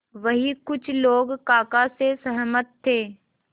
वहीं कुछ लोग काका से सहमत थे